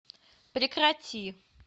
прекрати